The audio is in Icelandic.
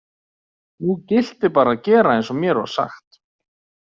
Nú gilti bara að gera eins og mér var sagt.